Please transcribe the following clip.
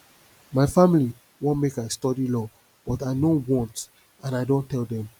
my family wan make i study law but i no want and i don tell dem